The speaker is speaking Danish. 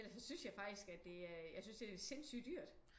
Ellers så synes jeg faktisk at det er øh jeg synes det er sindssygt dyrt